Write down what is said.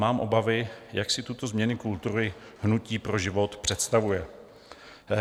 Mám obavy, jak si tuto změnu kultury Hnutí pro život představuje.